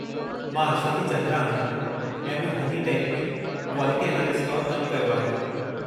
मां अश्वथी चंद्रा आहियां ऐं मूं हनीटेक में क्वालिटी एनालिस्ट तौरु कमु कयो आहे।